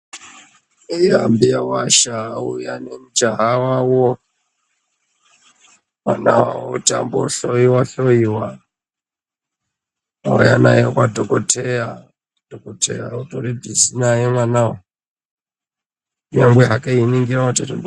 Eya mbuyawasha vauya nemujaha wawo mwanawawo kuti ambohloyiwa hloyiwa vauya naye kwadhokodheya ,dhokodheya utori bhizi naye mwana uyu kunyangwe hake einingira...